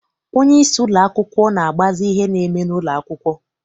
Onyeisi ụlọakwụkwọ na-agbazi ihe na-eme n'ụlọ akwụkwọ.